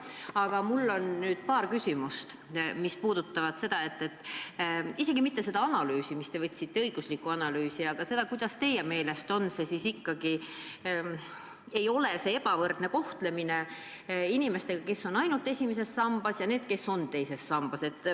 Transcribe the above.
Aga mul on nüüd paar küsimust, mis ei puuduta isegi mitte seda analüüsi, õiguslikku analüüsi, mis te lasite teha, vaid seda, kuidas teie meelest ikkagi ei ole tegemist ebavõrdse kohtlemisega, kui vaadata inimesi, kes on ainult esimeses sambas, ja neid, kes on ka teises sambas.